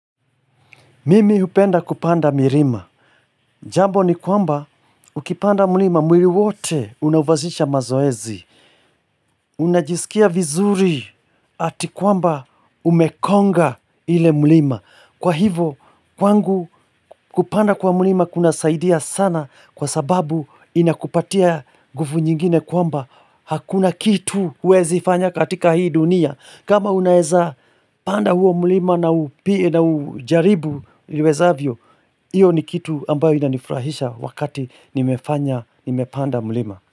Mimi hupenda kupanda milima, jambo ni kwamba ukipanda mlima mwili wote unafanyisha mazoezi. Unajisikia vizuri ati kwamba umekonga ile mlima. Kwa hivo kwangu kupanda kwa mlima kuna saidia sana kwa sababu inakupatia nguvu nyingine kwamba hakuna kitu huwezi fanya katika hii dunia. Kama unaeza panda huo mlima na ujaribu iwezavyo, hiyo ni kitu ambayo inanifurahisha wakati nimepanda mlima.